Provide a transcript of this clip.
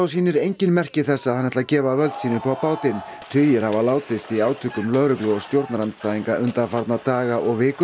sýnir engin merki þess að hann ætli að gefa völd sín upp á bátinn tugir hafa látist í átökum lögreglu og stjórnarandstæðinga undanfarna daga og vikur